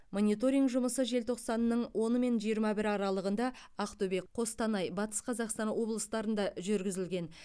мониторинг жұмысы желтоқсанның оны мен жиырма бірі аралығында ақтөбе қостанай батыс қазақстан облыстарында жүргізілген